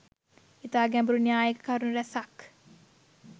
ඉතා ගැඹුරු න්‍යායික කරුණු රැසක්